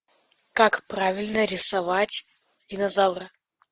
как правильно рисовать динозавра